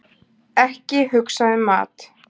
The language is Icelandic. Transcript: Ekki hugsa um mat!